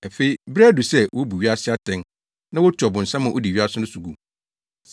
Afei, bere adu sɛ wobu wiase atɛn na wotu ɔbonsam a odi wiase so no gu.